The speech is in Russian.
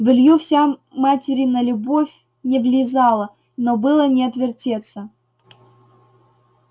в илью вся материна любовь не влезала но было не отвертеться